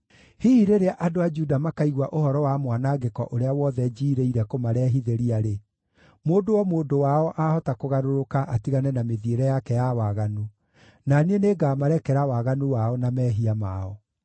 Hihi rĩrĩa andũ a Juda makaigua ũhoro wa mwanangĩko ũrĩa wothe njiirĩire kũmarehithĩria-rĩ, mũndũ o mũndũ wao ahota kũgarũrũka atigane na mĩthiĩre yake ya waganu; na niĩ nĩngamarekera waganu wao na mehia mao.”